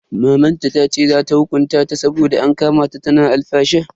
Mamanta tace za ta hukunta ta saboda an kama ta tana alfasha.